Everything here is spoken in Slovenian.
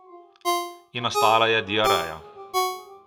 In nastala je Diareja.